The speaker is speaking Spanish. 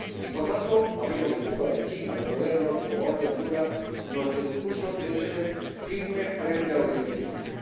por tanto, hablemos de Cuba, de China, de Corea del Norte o, ahora, de Honduras, nuestro discurso debe ser firme frente a los liberticidas.